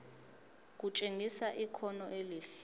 kutshengisa ikhono elihle